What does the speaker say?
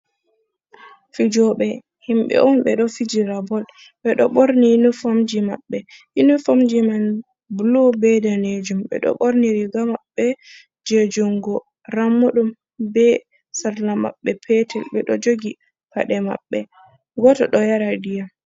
"Fijoɓe" himɓe on ɓeɗo fijira bol ɓeɗo ɓorni uniformji maɓɓe yuniformji man bulu be danejum ɓeɗo ɓorni riga maɓɓe je jungo rammuɗum be salla maɓɓe petel ɓeɗo jogi paɗe maɓɓe goto do yara ndiyam.